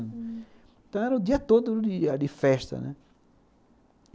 Hum. Então era o dia todo de festa, né?